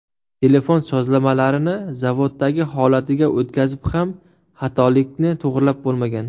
Telefon sozlamalarini zavoddagi holatiga o‘tkazib ham, xatolikni to‘g‘rilab bo‘lmagan.